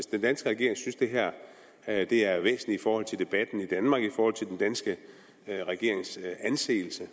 den danske regering synes at det er væsentligt i forhold til debatten i danmark i forhold til den danske regerings anseelse